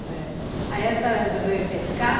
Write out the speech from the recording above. É. Aí, a senhora resolveu ir pescar?